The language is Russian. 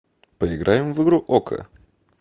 поиграем в игру око